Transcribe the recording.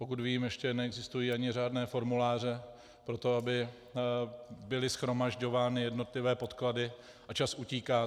Pokud vím, ještě neexistují ani řádné formuláře pro to, aby byly shromažďovány jednotlivé podklady, a čas utíká.